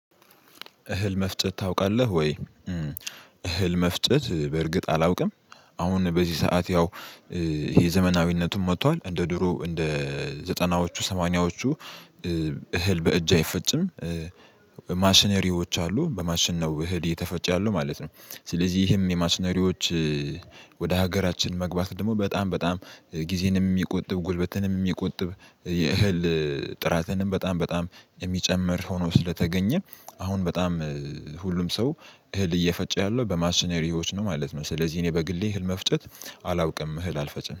እህል መፍጨት ታውቃለህ ወይ? እህል መፍጨት በእርግጥ አላውቅም። አሁን በዚህ ሰዓት ያው ይሄ ዘመናዊነቱን መጥቷል እንደ ድሮ እንደ ዘጠናዎቹ ሰማንያዎቹ እህል በእጅ አይፈጭም። ማሽነሪዎች አሉ በማሽን ነው እህል እየተፈጨ ያለው ማለት ነው። ስለዚህ ይህም የማሽነሪዎች ወደ ሀገራችን መግባት ደግሞ በጣም በጣም ጊዜንም የሚቆጥብ ጉልበትንም የሚቆጥብ የእህል ጥራትንም በጣም በጣም የሚጨምር ሆኖ ስለተገኘ አሁን በጣም ሁሉም ሰው እህል እየፈጨ ያለው በማሽነሪዎች ነው ማለት ነው። ስለዚህ እኔ በግሌ እህል መፍጨት አላውቅም እህል አልፈጭም